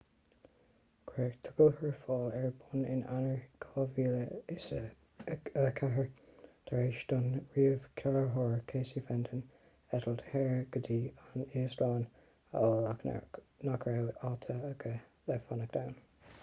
cuireadh tolgshurfáil ar bun in eanáir 2004 tar éis don ríomhchláraitheoir casey fenton eitilt shaor go dtí an íoslainn a fháil ach nach raibh áit aige le fanacht ann